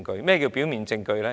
何謂表面證據呢？